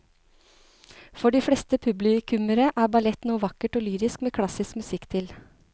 For de fleste publikummere er ballett noe vakkert og lyrisk med klassisk musikk til.